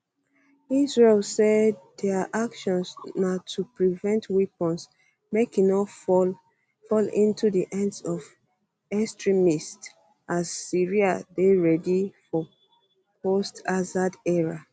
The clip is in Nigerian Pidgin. israel say dia actions na to prevent weapons make e no fall fall into di hands of extremists as syria dey ready for post assad era